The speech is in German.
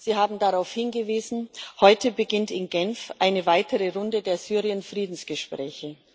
Sie haben darauf hingewiesen Heute beginnt in Genf eine weitere Runde der Syrien Friedensgespräche.